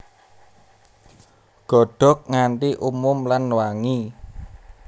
Godhog nganti umum lan wangi